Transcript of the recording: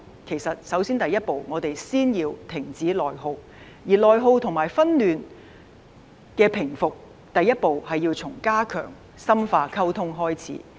其實我們首先要停止內耗，而內耗及紛亂的平復，第一步是要從加強和深化溝通開始。